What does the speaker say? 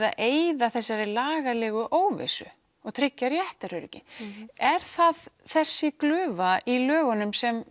að eyða þessari lagalegu óvissu og tryggja réttaröryggi er það þessi glufa í lögunum sem